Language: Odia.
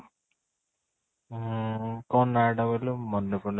ଊଂ କ'ଣ ନାଁ ଟା କହିଲୁ ମାନେ ପଡୁନି ରହ